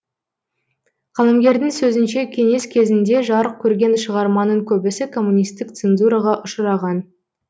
қаламгердің сөзінше кеңес кезінде жарық көрген шығарманың көбісі коммунистік цензураға ұшыраған